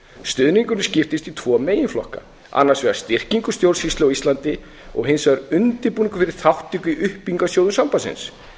og ellefu stuðningurinnskiptist í tvo meginflokka annars vegar skiptingu stjórnsýslu á íslandi og hins vegar undirbúningur fyrir þátt upp í uppbyggingarsjóðum sambandsins